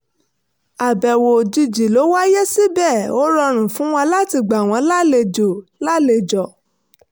àbẹ̀wò òjìjì ló wáyé síbẹ̀ ó rọrùn fún wa láti gbà wọ́n lálejọ̀ wọ́n lálejọ̀